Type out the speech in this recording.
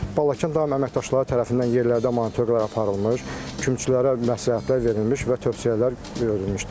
Balakən daim əməkdaşları tərəfindən yerlərdə monitorinqlər aparılmış, kümçülərə məsləhətlər verilmiş və tövsiyələr verilmişdir.